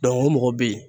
o mɔgɔ bɛ yen